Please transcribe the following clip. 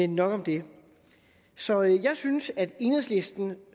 nok om det så jeg synes at enhedslisten